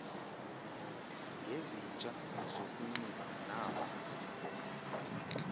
ngezintsha zokunxiba naba